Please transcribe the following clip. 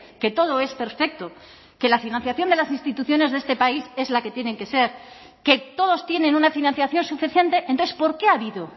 que todo es perfecto que la financiación de las instituciones de este país es la que tienen que ser que todos tienen una financiación suficiente entonces por qué ha habido